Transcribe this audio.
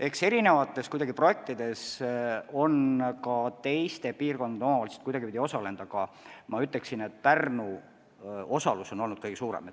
Eks eri projektides on ka teiste piirkondade omavalitsused kuidagipidi osalenud, aga ma ütleksin, et Pärnu osalus on olnud kõige suurem.